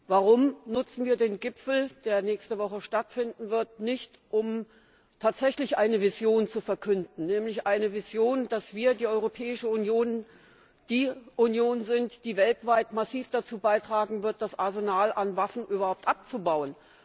Warum nutzen wir den Gipfel, der nächste Woche stattfinden wird, nicht, um tatsächlich eine Vision zu verkünden, nämlich eine Vision, dass wir die Europäische Union die Union sind, die weltweit massiv dazu beitragen wird, das Arsenal an Waffen überhaupt abzubauen?